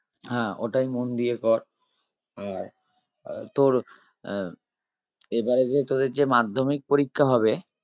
হা ওটাই মন দিয়ে কর আর আহ তোর আহ এবারে যে তোদের যে মাধ্যমিক পরীক্ষা হবে